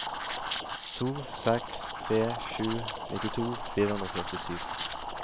to seks tre sju nittito fire hundre og førtisju